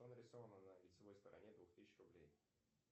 что нарисовано на лицевой стороне двух тысяч рублей